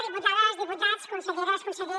diputades diputats conselleres conseller